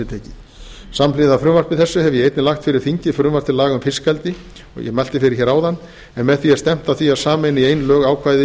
samhliða frumvarpi þessu hef ég einnig lagt fyrir þingið frumvarp til laga um fiskeldi en með því er stefnt að því að samræma í ein lög ákvæði